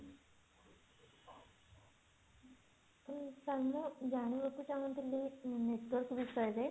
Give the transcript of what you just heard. sir ମୁଁ ମୁଁ ଜାଣିବାକୁ ଚାହୁଁଥିଲି network ବିଷୟରେ